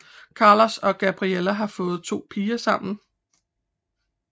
Carlos og Gabriella har fået 2 piger sammen